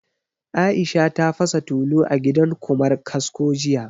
Aisha ta fasa tulu a gidan Ƙumar kasko jiya